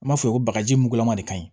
N b'a f'i ye ko bagaji mugulama de ka ɲi